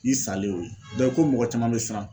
I salen y'o ye dɔ ko mɔgɔ caman be siran